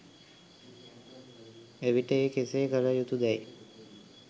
එවිට ඒ කෙසේ කළ යුතු දැයි